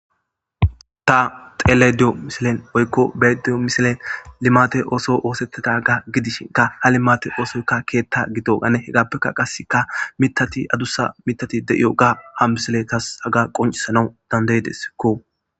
ta xeelayide diyo misilen woykko beediyo misilen limate ooso oosettetaga gidishin ka ha limate oosoykka keetta gito ane hegaappekka qaska mitati adussa mitati de7iyo ga ha misile tas aga qoncisana dandaydeskko